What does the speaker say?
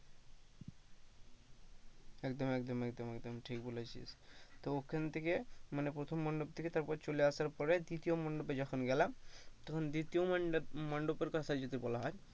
একদম একদম একদম একদম ঠিক বলেছিস তো ওখান থেকে মানে প্রথম মণ্ডপ থেকে তারপর চলে আসার পরে মানে দ্বিতীয় মণ্ডপে যখন গেলাম তখন দ্বিতীয় মণ্ডপের কথা যদি বলা হয়,